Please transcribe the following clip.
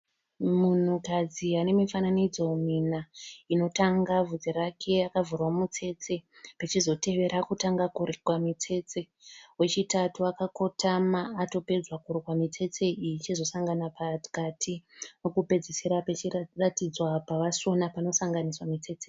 Munhukadzi anemifananidzo mina inotanga vhudzi rake akavhurwa mitsetse richizotevera akutanga kurukwa mitsetse wechitatu akakotama atopedzwa kurukwa mitsetse iyi ichizosangana pakati wekupedzisira pechiratidzwa pavasona panosanganiswa mitsetse.